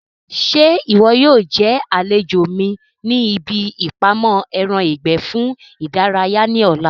Ṣé ìwọ yóò jẹ́ àlejò mi ní ibi ìpamọ́ ẹran ìgbẹ́ fún ìdárayá ní ọ̀la?